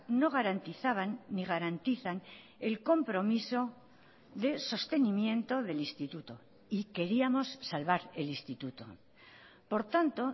no garantizaban ni garantizan el compromiso de sostenimiento del instituto y queríamos salvar el instituto por tanto